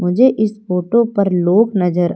मुझे इस फोटो पर लोग नजर--